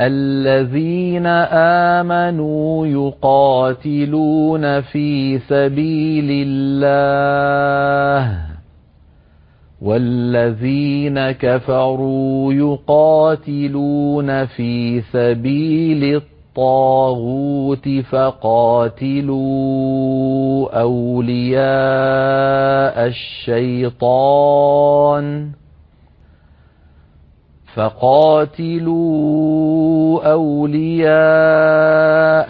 الَّذِينَ آمَنُوا يُقَاتِلُونَ فِي سَبِيلِ اللَّهِ ۖ وَالَّذِينَ كَفَرُوا يُقَاتِلُونَ فِي سَبِيلِ الطَّاغُوتِ فَقَاتِلُوا أَوْلِيَاءَ